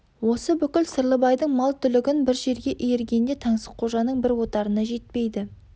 осы бүкіл сырлыбайдың мал түлігін бір жерге иіргенде таңсыққожаның бір отарына жетпейді